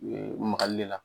Magali le la